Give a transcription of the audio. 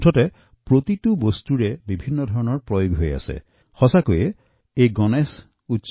অলপ অলপকৈ ইয়াৰ প্ৰয়োগ প্ৰতিটো পৰিয়ালে ক্ৰমান্বয়ে বৃদ্ধি কৰিছে